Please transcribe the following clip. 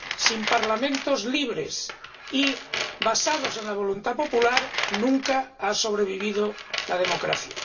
sin parlamentos libres y basados en la voluntad popular, nunca ha sobrevivido la democracia.